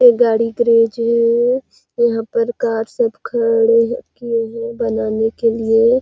एक गाड़ी गैरेज है यहाँ पर कार सब खड़े किए हुए हैं बनाने के लिए--